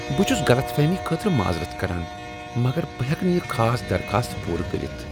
بہٕ چھس غلط فہمی خٲطرٕ معذرت کران، مگر بہٕ ہیکہٕ نہٕ یہٕ خاص درخواست پورٕ کٔرتھ۔